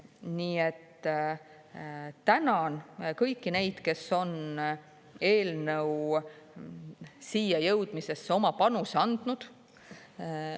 Nii et tänan kõiki neid, kes on eelnõu siia jõudmisesse oma panuse andnud.